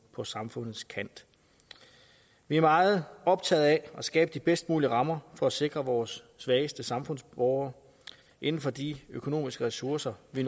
på samfundets kant vi er meget optagede af at skabe de bedst mulige rammer for at sikre vores svageste samfundsborgere inden for de økonomiske ressourcer vi